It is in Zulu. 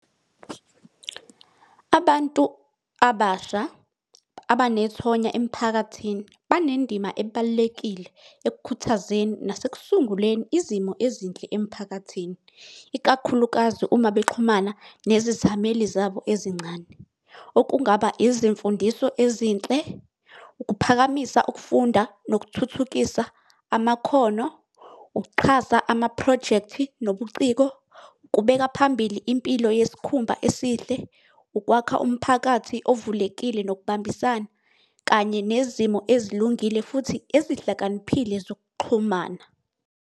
Abantu abasha abanethonya emphakathini, banendima ebalulekile ekukhuthazeni nasekusunguleni izimo ezinhle emphakathini, ikakhulukazi uma bexhumana nezithameli zabo ezincane. Okungaba izimfundiso ezinhle, ukuphakamisa ukufunda nokuthuthukisa amakhono. Ukuxhasa amaphrojekthi, nobuciko. Ukubeka phambili impilo yesikhumba esihle. Ukwakha umphakathi ovulekile nokubambisana. Kanye nezimo ezilungile futhi ezihlakaniphile zokuxhumana.